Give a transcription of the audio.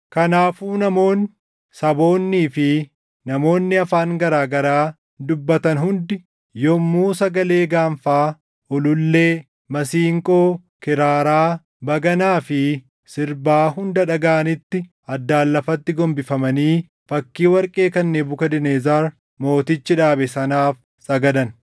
Kanaafuu namoonni, saboonnii fi namoonni afaan garaa garaa dubbatan hundi yommuu sagalee gaanfaa, ulullee, masiinqoo, kiraaraa, baganaa fi sirbaa hunda dhagaʼanitti addaan lafatti gombifamanii fakkii warqee kan Nebukadnezar Mootichi dhaabe sanaaf sagadan.